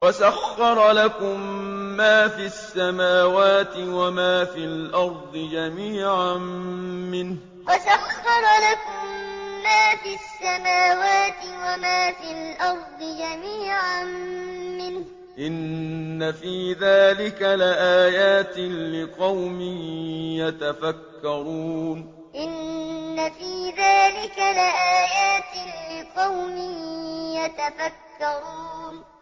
وَسَخَّرَ لَكُم مَّا فِي السَّمَاوَاتِ وَمَا فِي الْأَرْضِ جَمِيعًا مِّنْهُ ۚ إِنَّ فِي ذَٰلِكَ لَآيَاتٍ لِّقَوْمٍ يَتَفَكَّرُونَ وَسَخَّرَ لَكُم مَّا فِي السَّمَاوَاتِ وَمَا فِي الْأَرْضِ جَمِيعًا مِّنْهُ ۚ إِنَّ فِي ذَٰلِكَ لَآيَاتٍ لِّقَوْمٍ يَتَفَكَّرُونَ